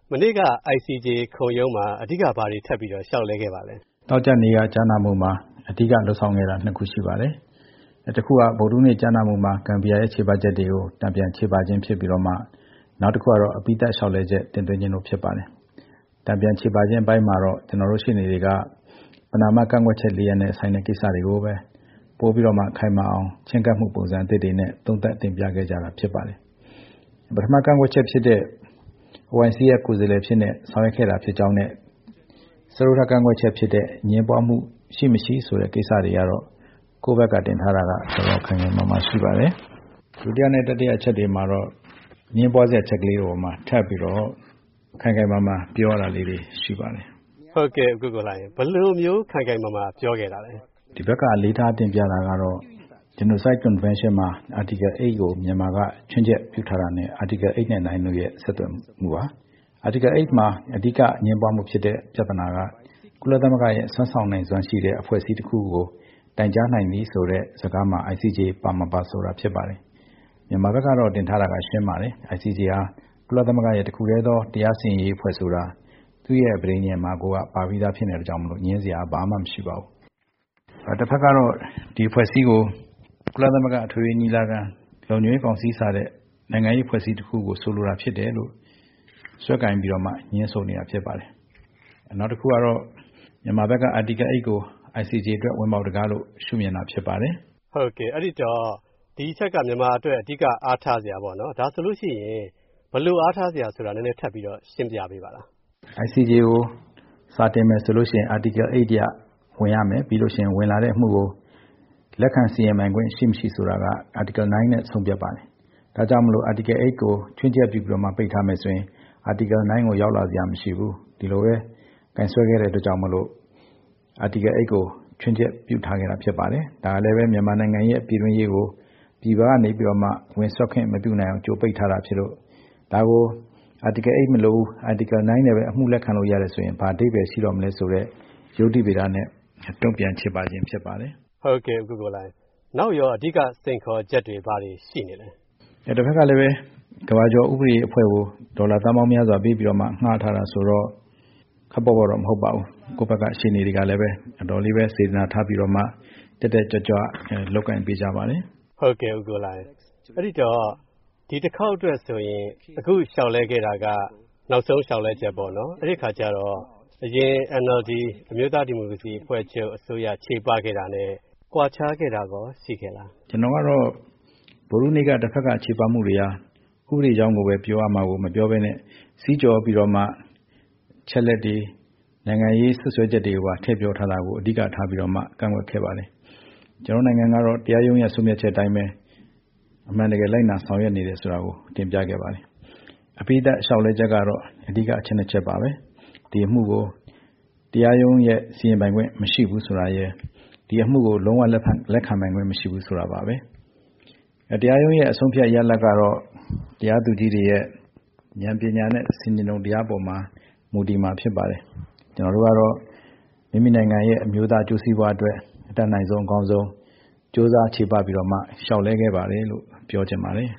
မနေ့က ICJ ခုံရုံးမှာ အဓိက ဘာတွေ ထပ်ပြီးတော့ လျှောက်လဲခဲ့ပါသလဲ။ ဦးကိုကိုလှိုင် - “နောက်ထပ်ကြားနာမှုမှာ အဓိက လုပ်ဆောင်ခဲ့တာ ၂ ခုရှိပါတယ်။ တခုက ဗုဒ္ဓဟူးနေ့ ကြားနာမှုမှာ ဂမ်ဘီယာရဲ့ ချေပချက်တွေကို တန်ပြန်ချေပခြင်း ဖြစ်ပြီးတော့ နောက်တခုကတော့ အပြီးသတ်လျှောက်လဲချက် တင်သွင်းခြင်း ဖြစ်ပါတယ်။ တန်ပြန်ချေပခြင်း အပိုင်းမှာတော့ ကျနော်တို့ရှေ့နေတွေက ပဏာမကန့်ကွက်ချက် ၄ ရပ်နဲ့ဆိုင်တဲ့ ကိစ္စတွေကိုပဲ ပိုပြီးတော့ ခိုင်မာအောင် ချဉ်းကပ်မှု ပုံစံအသစ်တွေနဲ့ သုံးသပ်တင်ပြခဲ့ကြတာ ဖြစ်ပါတယ်။ ပထမကန့်ကွက်ချက်ဖြစ်တဲ့ OIC ရဲ့ ကိုယ်စားလှယ်အဖြစ်နဲ့ ဆောင်ရွက်ခဲ့တာ ဖြစ်ကြောင်းနဲ့ စတုတ္ထကန့်ကွက်ချက်ဖြစ်တဲ့ အငြင်းပွားမှု ရှိမရှိဆိုတဲ့ ကိစ္စတွေကတော့ ကိုယ့်ဘက်က တင်ထားတာက တော်တော် ခိုင်ခိုင်မာမာ ရှိပါတယ်။ ဒုတိယနဲ့ တတိယအချက်တွေမှာတော့ အငြင်းပွားစရာ အချက်လေးတွေအပေါ်မှာ ထပ်ပြီးတော့ ခိုင်ခိုင်မာမာ ပြောရတာလေးတွေ ရှိပါတယ်။” ကိုဝင်းမင်း - ဘယ်လိုမျိုး ခိုင်ခိုင်မာမာ ပြောခဲ့တာလဲ။ ဦးကိုကိုလှိုင် - “ဒီဘက်က အလေးထား တင်ပြတာကတော့ Genocide Convention မှာ Article 8 ကို မြန်မာက ချွင်းချက်ပြုထားတာနဲ့ Article 8 နဲ့ 9 တို့ရဲ့ ဆက်သွယ်မှုပါ။ Article 8 မှာ အဓိက အငြင်းပွားမှုဖြစ်တဲ့ ပြဿနာက ကုလသမဂ္ဂရဲ့ စွမ်းဆောင်နိုင်စွမ်းရှိတဲ့ အဖွဲ့အစည်းတခုကို တိုင်ကြားနိုင်သည်ဆိုတဲ့ စကားမှာ ICJ ပါမပါဆိုတာ ဖြစ်ပါတယ်။ မြန်မာဘက်ကတော့ တင်ထားတာက ရှင်းပါတယ်။ ICJ ဟာ ကုလသမဂ္ဂရဲ့ တခုတည်းသော တရားစီရင်ရေးအဖွဲ့ ဆိုတာ သူ့ရဲ့ ပဋိညာဉ်မှာကိုက ပါပြီးသားဖြစ်လို့ ငြင်းစရာ ဘာမှမရှိပါဘူး။ တဖက်ကတော့ ဒီအဖွဲ့အစည်းကို ကုလသမဂ္ဂ အထွေထွေညီလာခံ၊ လုံခြုံရေးကောင်စီ စတဲ့ နိုင်ငံရေးအဖွဲ့အစည်းတခုကို ဆိုလိုတာ ဖြစ်တယ်လို့ စွဲကိုင်ပြီးတော့မှ ငြင်းဆိုနေတာ ဖြစ်ပါတယ်။ နောက်တခုကတော့ မြန်မာဘက်က Article 8 ကို ICJ အတွက် ဝင်ပေါက်တံခါးလို့ ရှုမြင်တာ ဖြစ်ပါတယ်။” ကိုဝင်းမင်း - အဲဒီတော့ ဒီအချက်က မြန်မာအတွက် အဓိက အားထားစရာပေါ့။ ဒါဆိုရင် ဘယ်လိုအားထားစရာဆိုတာ နည်းနည်း ထပ်ရှင်းပြပေးပါလား။ ဦးကိုကိုလှိုင် - “ICJ ကို စာတင်မယ်ဆိုရင် Article 8 အရ ဝင်ရမယ်၊ ပြီးရင် ဝင်လာတဲ့အမှုကို လက်ခံစီရင်ပိုင်ခွင့် ရှိမရှိ ဆိုတာက Article 9 နဲ့ ဆုံးဖြတ်ပါတယ်။ ဒါကြောင့်မို့ Article 8 ကို ချွင်းချက်ပြုပြီး ပိတ်ထားမယ်ဆိုရင် Article 9 ကို ရောက်လာစရာ မရှိဘူး။ ဒီလိုပဲ ကိုင်စွဲခဲ့တဲ့အတွက် Article 8 ကို ချွင်းချက်ပြုထားခဲ့တာ ဖြစ်ပါတယ်။ ဒါလည်းပဲ မြန်မာနိုင်ငံရဲ့ ပြည်တွင်းရေးကို ပြည်ပကနေ ဝင်စွက်ခွင့် မပြုနိုင်အောင် ကြိုပိတ်ထားတာဖြစ်လို့ ဒါကို Article 8 မလိုဘူး၊ Article 9 နဲ့ပဲ အမှုလက်ခံလို့ရတယ်ဆိုရင် ဘာအဓိပ္ပာယ်ရှိတော့မလဲဆိုတဲ့ ယုတ္တိဗေဒနဲ့ တုံ့ပြန်ချေပခြင်း ဖြစ်ပါတယ်။” ကိုဝင်းမင်း - နောက်ရော အဓိက စိန်ခေါ်ချက်တွေ ဘာတွေရှိနေလဲ။ ဦးကိုကိုလှိုင် - “တဖက်ကလည်း ကမ္ဘာကျော် ဥပဒေအဖွဲ့ကို ဒေါ်လာသန်းပေါင်းများစွာ ပေးပြီးတော့မှ ငှားထားတာဆိုတော့ ခပ်ပေါ့ပေါ့တော့ မဟုတ်ပါဘူး။ ကိုယ့်ဘက်က ရှေ့နေတွေကလည်း အတော်လေးပဲ စေတနာထားပြီးတော့မှ တက်တက်ကြွကြွ လုပ်ကိုင်ပေးကြပါတယ်။” ကိုဝင်းမင်း - အဲဒီတော့ ဒီတခေါက်အတွက်ဆိုရင် အခုလျှောက်လဲခဲ့တာက နောက်ဆုံးလျှောက်လဲချက်ပေါ့နော်။ အဲဒီအခါကြတော့ အရင် NLD အမျိုးသားဒီမိုကရေစီအဖွဲ့ချုပ် အစိုးရ ချေပခဲ့တာနဲ့ ကွာခြားခဲ့တာရော ရှိခဲ့လား။ ဦးကိုကိုလှိုင် - “ကျနော်ကတော့ ဗုဒ္ဓဟူးနေ့က တဖက်က ချေပမှုတွေဟာ ဥပဒေကြောင်းကိုပဲ ပြောရမှာကို မပြောဘဲနဲ့ စည်းကျော်ပြီးတော့ အချက်အလက်တွေ နိုင်ငံရေးစွပ်စွဲချက်တွေကိုပါ ထည့်ပြောထားတာကို အဓိကထားပြီးတော့မှ ကန့်ကွက်ခဲ့ပါတယ်။ ကျနော်တို့နိုင်ငံကတော့ တရားရုံးရဲ့ ဆုံးဖြတ်ချက်အတိုင်းပဲ အမှန်တကယ် လိုက်နာ ဆောင်ရွက်နေတယ် ဆိုတာကို တင်ပြခဲ့ပါတယ်။ အပြီးသတ် လျှောက်လဲချက်ကတော့ အဓိက အချက် ၂ ချက်ပါပဲ။ ဒီအမှုကို တရားရုံးရဲ့ စီရင်ပိုင်ခွင့် မရှိဘူး ဆိုတာရယ် ဒီအမှုကို လုံးဝ လက်ခံပိုင်ခွင့် မရှိဘူး ဆိုတာပါပဲ။ တရားရုံးရဲ့ အဆုံးအဖြတ် ရလဒ်ကတော့ တရားသူကြီးတွေရဲ့ ဉာဏ်ပညာနဲ့ ဆင်ခြင်တုံတရား အပေါ်မှာ မူတည်မှာ ဖြစ်ပါတယ်။ ကျနော်တို့ကတော့ မိမိနိုင်ငံရဲ့ အမျိုးသား အကျိုးစီးပွားအတွက် အတတ်နိုင်ဆုံး အကောင်းဆုံး ကြိုးစားချေပပြီးတော့မှ လျှောက်လဲခဲ့ပါတယ်လို့ ပြောချင်ပါတယ်